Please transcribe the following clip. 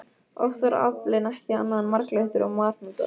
Oft var aflinn ekki annað en marglyttur og marhnútar.